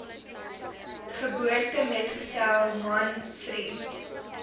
geboortemetgesel man vriend